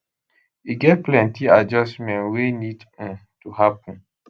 e get plenty adjustment wey need um to happen